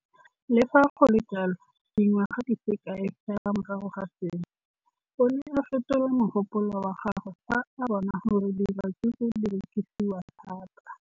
Le fa go le jalo, dingwaga di se kae fela morago ga seno, o ne a fetola mogopolo wa gagwe fa a bona gore diratsuru di rekisiwa thata.